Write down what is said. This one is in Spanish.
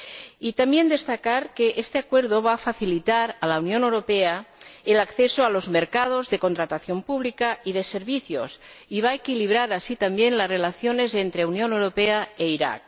Y también, destacar que este acuerdo va a facilitar a la Unión Europea el acceso a los mercados de contratación pública y de servicios y va a equilibrar así, también, las relaciones entre la Unión Europea e Irak.